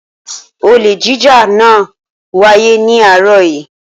Olè jíjà náà wáyé ní àárọ̀ yìí.